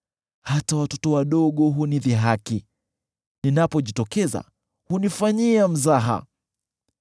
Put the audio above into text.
Hata watoto wadogo hunidhihaki; ninapojitokeza, hunifanyia mzaha.